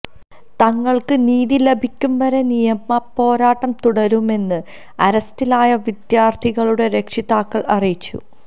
തങ്ങള്ക്ക് നീതി ലഭിക്കുംവരെ നിയമപ്പോരാട്ടം തുടരുമെന്ന് അറസ്റ്റിലായ വിദ്യാര്ഥിനികളുടെ രക്ഷിതാക്കള് അറിയിച്ചു